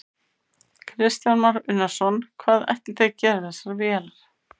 Kristján Már Unnarsson: Hvað ætlið þið að gera við þessar vélar?